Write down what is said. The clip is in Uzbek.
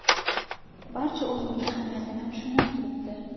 Barcha o‘yinning ahamiyatini tushunib turibdi.